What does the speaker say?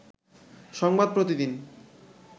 সংবাদ প্রতিদিন